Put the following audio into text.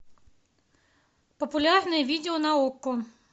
популярные видео на окко